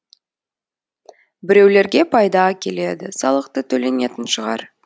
біреулерге пайда әкеледі салық та төленетін шығар